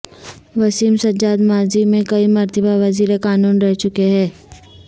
وسیم سجاد ماضی میں کئی مرتبہ وزیر قانون رہ چکے ہیں